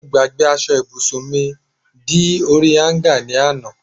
mo gbagbe asọ ibusun mi di orí hanger ni ana